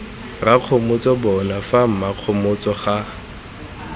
rakgomotso bona fa mmakgomotso ga